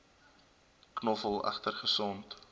knoffel egter gesond